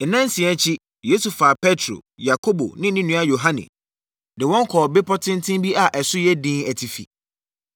Nnansia akyi, Yesu faa Petro, Yakobo ne ne nua Yohane de wɔn kɔɔ bepɔ tenten bi a ɛso yɛ dinn atifi.